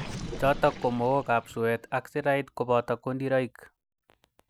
chotok ko Mook ab suet ak sirait koboto kondiroik.